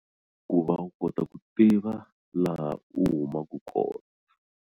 Ku va u kota ku tiva laha u humaka kona.